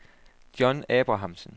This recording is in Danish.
John Abrahamsen